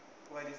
umarikiriki